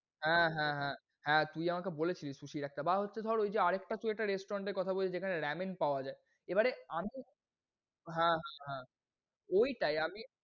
হ্যাঁ হ্যাঁ হ্যাঁ, হ তুই আমাকে বলেছিলি susie বা হচ্ছে ধর আর একটা তুই একটা restaurant এর কথা বললি যেখানে ramyeon পাওয়া যায়। এবারে আমি হ্যাঁ হ্যাঁ ওইটায়।